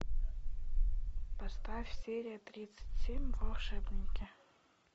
поставь серия тридцать семь волшебники